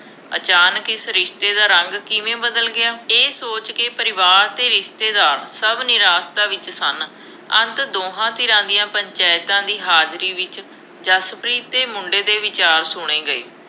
ਅਚਾਨਕ ਇਸ ਰਿਸ਼ਤੇ ਦਾ ਰੰਗ ਕਿਵੇਂ ਬਦਲ ਗਿਆ, ਇਸ ਸੋਚ ਕੇ ਪਰਿਵਾਰ ਅਤੇ ਰਿਸ਼ਤੇਦਾਰ ਸਭ ਨਿਰਾਸ਼ਤਾ ਵਿੱਚ ਸਨ। ਅੰਤ ਦੋਹਾਂ ਧਿਰਾਂ ਦੀਆ ਪੰਚਾਇਤਾਂ ਦੀ ਹਾਜ਼ਰੀ ਵਿੱਚ ਜਸਪ੍ਰੀਤ ਅਤੇ ਮੁੰਡੇ ਦੇ ਵਿਚਾਰ ਸੁਣੇ ਗਏ।